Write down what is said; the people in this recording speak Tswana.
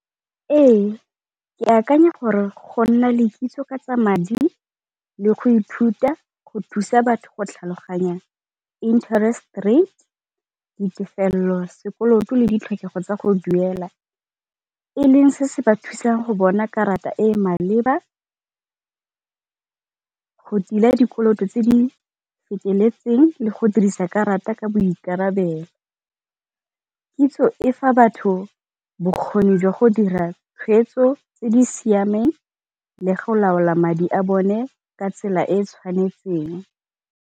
Ee, ke akanya gore go nna le kitso ka tsa madi le go ithuta go thusa batho go tlhaloganyang interest rate, ditefelelo, sekoloto le ditlhokego tsa go duela. E leng se se ba thusang go bona karata e e maleba, go tila dikoloto tse di feteletseng le go dirisa karata ka boikarabelo. Kitso e fa batho bokgoni jwa go dira tshweetso tse di siameng le go laola madi a bone ka tsela e e tshwanetseng.